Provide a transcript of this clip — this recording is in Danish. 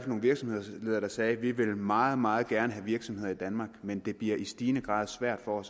nogle virksomhedsledere der sagde vi vil meget meget gerne have virksomheder i danmark men det bliver i stigende grad svært for